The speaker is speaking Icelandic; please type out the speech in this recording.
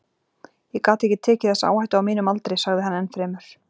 Ég gat ekki tekið þessa áhættu á mínum aldri, sagði hann enn fremur.